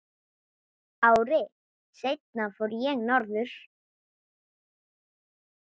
Ári seinna fór ég norður.